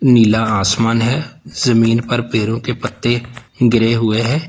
नीला आसमान है जमीन पर पेड़ों के पत्ते गिरे हुए हैं।